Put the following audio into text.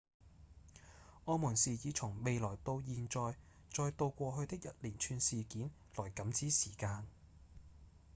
我們是以從未來到現在、再到過去的一連串事件來感知時間